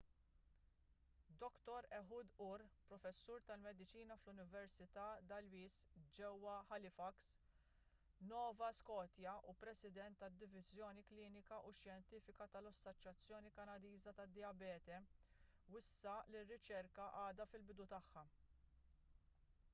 dr ehud ur professur tal-mediċina fl-università dalhousie ġewwa halifax nova scotia u president tad-diviżjoni klinika u xjentifika tal-assoċjazzjoni kanadiża tad-dijabete wissa li r-riċerka għadha fil-bidu tagħha